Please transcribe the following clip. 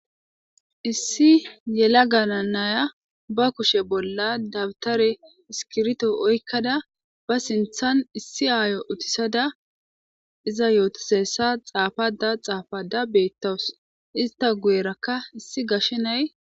Issi yela gana naya ba kushe bolla dabtare iskirto oykkada ba sinthan issi aayo utisada iza yootosessa xaafada xaafada beettawus ista guyerakka issi gashenay.